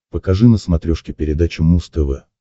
покажи на смотрешке передачу муз тв